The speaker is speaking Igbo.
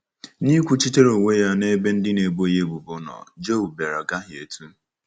N’ịkwuchitere onwe ya n’ebe ndị na-ebo ya ebubo nọ, Job bịara gahietụ